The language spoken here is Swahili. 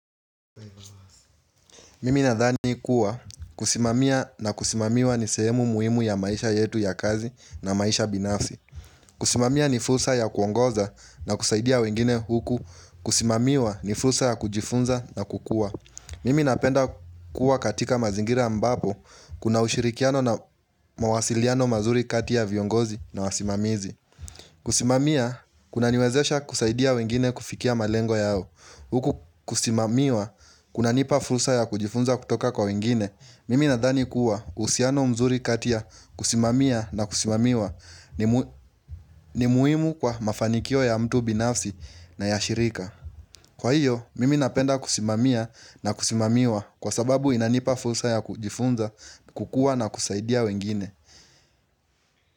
Mimi nadhani kuwa kusimamia na kusimamiwa ni sehemu muhimu ya maisha yetu ya kazi na maisha binafsi. Kusimamia ni fursa ya kuongoza na kusaidia wengine huku. Kusimamiwa ni fusa ya kujifunza na kukua. Mimi napenda kuwa katika mazingira ambapo kuna ushirikiano na mawasiliano mazuri kati ya viongozi na wasimamizi. Kusimamia kunaniwezesha kusaidia wengine kufikia malengo yao. Huku kusimamiwa, kunanipa fursa ya kujifunza kutoka kwa wengine, mimi nadhani kuwa uhusiano mzuri kati ya kusimamia na kusimamiwa ni muhimu kwa mafanikio ya mtu binafsi na ya shirika. Kwa hiyo, mimi napenda kusimamia na kusimamiwa kwa sababu inanipa fursa ya kujifunza kukua na kusaidia wengine.